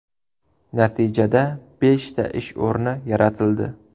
Natijada beshta ish o‘rni yaratildi.